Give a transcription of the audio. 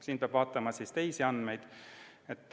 Siin peab vaatama ka teisi andmeid.